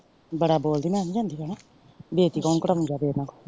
ਬੜਾ ਬੋਲਦੀ ਮੈਂ ਨੀ ਜਾਂਦੀ ਪੈਣੇ ਬੇਜਤੀ ਕੇ ਕੌਣ ਜਾਵੇ।